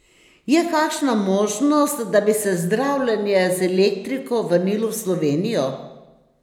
Je kakšna možnost, da bi se zdravljenje z elektriko vrnilo v Slovenijo?